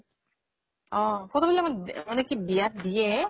photo বিলাক মা মানে কি দিয়া ত দিয়ে